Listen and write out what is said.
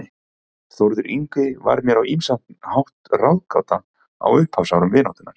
Þórður Yngvi var mér á ýmsan hátt ráðgáta á upphafsárum vináttunnar.